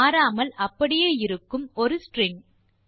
மாறாமல் அப்படியே இருக்கும் ஒரு ஸ்ட்ரிங்